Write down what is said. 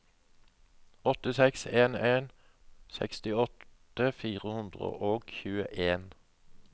åtte seks en en sekstiåtte fire hundre og tjueen